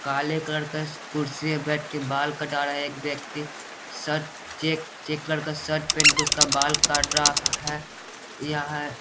काले कलर का कुर्सी पे बैठ के बाल कटा रहा है एक व्यक्ति शर्ट चेक चेक कलर के शर्ट पेहन के उसका बाल काट रहा है यह है।